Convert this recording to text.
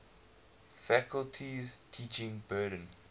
faculty's teaching burden